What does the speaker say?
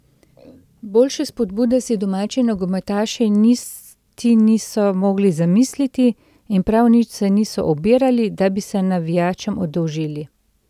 Boljše spodbude si domači nogometaši niti niso mogli zamisliti in prav nič se niso obirali, da bi se navijačem oddolžili.